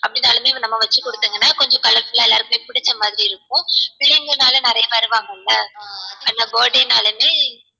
அப்டினாளுமே நம்ம வச்சி குடுத்திங்கனா கொஞ்சம் colourful ஆ எல்லாருக்குமே புடிச்ச மாதிரி இருக்கும் பிள்ளைங்கனாலே நிறையா வருவாங்கள்ள அந்த birthday னாளுமே